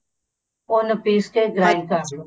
ਉਹਨੂੰ ਪੀਸ ਕੇ grind ਕਰਲੋ